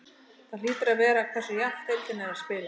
Það hlýtur að vera hversu jafnt deildin er að spilast.